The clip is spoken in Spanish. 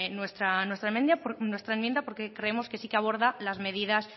nuestra enmienda porque creemos que sí que aborda las medidas